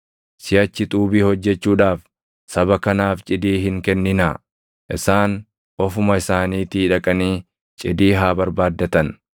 “Siʼachi xuubii hojjechuudhaaf saba kanaaf cidii hin kenninaa; isaan ofuma isaaniitii dhaqanii cidii haa barbaaddatan.